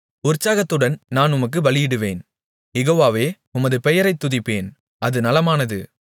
உற்சாகத்துடன் நான் உமக்குப் பலியிடுவேன் யெகோவாவே உமது பெயரைத் துதிப்பேன் அது நலமானது